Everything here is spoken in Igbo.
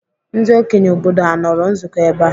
Ndị okenye obodo anọrọ nzukọ ebe a?